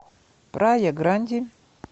прая гранди